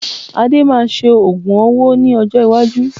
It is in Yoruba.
Ade máa ṣe ogún owó ní ọjọ́ iwájú